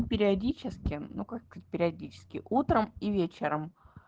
периодически ну как периодически утром и вечером